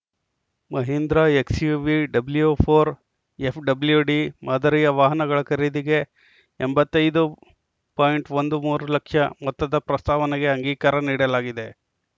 Mahindra XUV W ನಾಲ್ಕು FWD ಮಾದರಿಯ ವಾಹನಗಳ ಖರೀದಿಗೆ ಎಂಬತ್ತ್ ಐದು ಪಾಯಿಂಟ್ ಹದಿಮೂರು ಲಕ್ಷ ಮೊತ್ತದ ಪ್ರಸ್ತಾವನೆಗೆ ಅಂಗೀಕಾರ ನೀಡಲಾಗಿದೆ